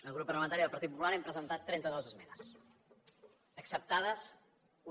el grup parlamentari del partit popular hem presentat trenta dues esmenes acceptades una